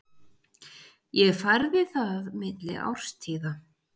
Ég færði það milli árstíða.